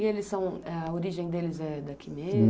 E eles são... a origem deles é daqui